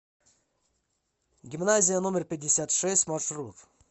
гимназия номер пятьдесят шесть маршрут